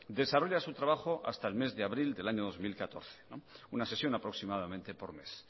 desarrolla su trabajo hasta el mes de abril del año dos mil catorce una sesión aproximadamente por mes